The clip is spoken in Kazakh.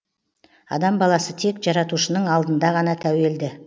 адам баласы тек жаратушының алдында ғана тәуелді